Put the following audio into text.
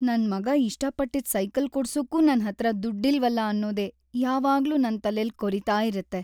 ನನ್‌ ಮಗ ಇಷ್ಟಪಟ್ಟಿದ್ ಸೈಕಲ್‌ ಕೊಡ್ಸಕ್ಕೂ ನನ್ಹತ್ರ ದುಡ್ಡಿಲ್ವಲ ಅನ್ನೋದೇ ಯಾವಾಗ್ಲೂ ನನ್‌ ತಲೆಲ್ ಕೊರೀತಾ ಇರತ್ತೆ.